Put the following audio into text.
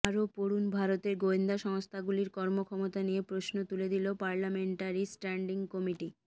আরও পড়ুন ভারতের গোয়েন্দা সংস্থাগুলির কর্মক্ষমতা নিয়ে প্রশ্ন তুলে দিল পার্লামেন্টারি স্ট্যান্ডিং কমিটি